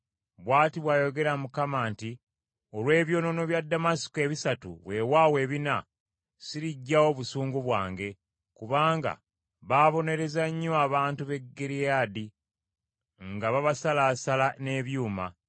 Bw’ati bw’ayogera Mukama nti, “Olw’ebyonoono bya Ddamasiko ebisatu, weewaawo ebina, siriggyawo busungu bwange. Kubanga baabonereza nnyo abantu b’e Gireyaadi nga babasalaasala n’ebyuma.